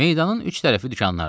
Meydanın üç tərəfi dükanlardı.